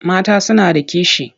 Mata suna da kishi.